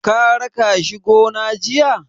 Ka raka shi gona jiya?